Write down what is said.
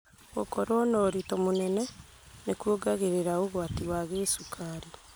Gũkorwo na ũritũ mũnene nĩkuongagĩrĩra ũgwati wa gĩcukari